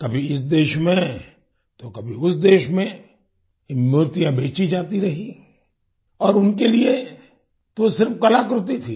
कभी इस देश में तो कभी उस देश में ये मूर्तियां बेचीं जाती रहीं और उनके लिए वो तो सिर्फ कलाकृति थी